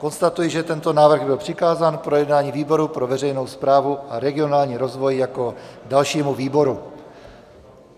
Konstatuji, že tento návrh byl přikázán k projednání výboru pro veřejnou správu a regionální rozvoj jako dalšímu výboru.